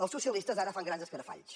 els socialistes ara fan grans escarafalls